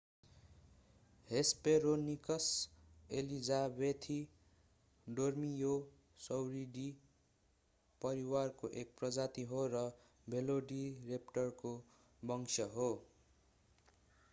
Hesperonychus elizabethae Dromaeosauridae परिवारको एक प्रजाति हो र भेलोसिरेप्टरको वंश हो